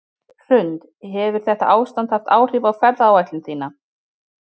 Hrund: Hefur þetta ástand haft áhrif á ferðaáætlun þína?